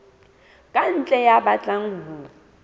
ka ntle ya batlang ho